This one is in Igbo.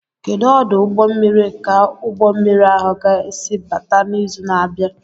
Kedu ọdụ ụgbọ mmiri ka ụgbọ mmiri ahụ ga-esi abata n'izu na-abịa?